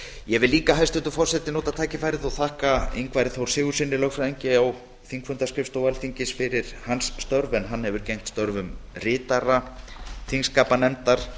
ég vil líka hæstvirtur forseti nota tækifærið og þakka ingvari þór sigurðssyni lögfræðingi á þingfundaskrifstofu alþingis fyrir hans störf en hann hefur gegnt störfum ritara þingskapanefndar